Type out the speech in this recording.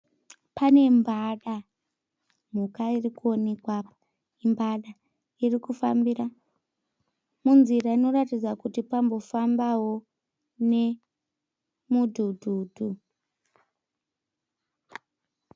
Pane mbada, mhuka irikuonekwa apa imbada, irikufambira munzira inoratidza kuti pambofambawo nemudhudhudhu.